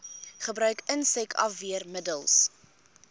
gebruik insek afweermiddels